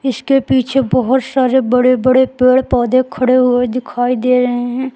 इसके पीछे बहोत सारे बड़े बड़े पेड़ पौधे खड़े हुए दिखाई दे रहे हैं।